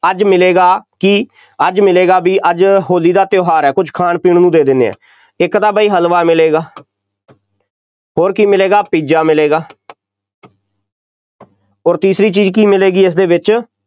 ਅੱਜ ਮਿਲੇਗਾ ਕੀ, ਅੱਜ ਮਿਲੇਗਾ ਬਈ ਅੱਜ ਹੋ਼ਲੀ ਦਾ ਤਿਉਹਾਰ ਹੈ ਕੁੱਝ ਖਾਣ ਪੀਣ ਨੂੰ ਦੇ ਦਿੰਦੇ ਹਾਂ, ਇੱਕ ਤਾਂ ਬਈ ਹਲਵਾ ਮਿਲੇਗਾ ਹੋਰ ਕੀ ਮਿਲੇਗਾ, ਪੀਜ਼ਾ ਮਿਲੇਗਾ ਅੋਰ ਤੀਜੀ ਚੀਜ਼ ਕੀ ਮਿਲੇਗੀ ਇਸ ਦੇ ਵਿੱਚ